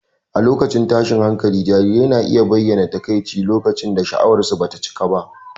A lokacin tashin hankali, jarirai na iya bayyana takaici lokacin da sha'awarsu ba ta cika ba.